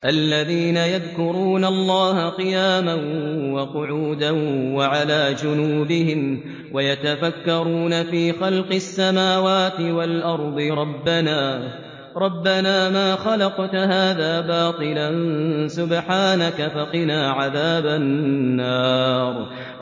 الَّذِينَ يَذْكُرُونَ اللَّهَ قِيَامًا وَقُعُودًا وَعَلَىٰ جُنُوبِهِمْ وَيَتَفَكَّرُونَ فِي خَلْقِ السَّمَاوَاتِ وَالْأَرْضِ رَبَّنَا مَا خَلَقْتَ هَٰذَا بَاطِلًا سُبْحَانَكَ فَقِنَا عَذَابَ النَّارِ